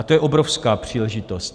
A to je obrovská příležitost.